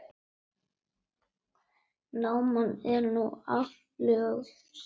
Náman er nú aflögð.